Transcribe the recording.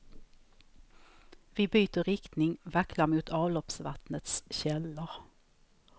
Vi byter riktning, vacklar mot avloppsvattnets källor.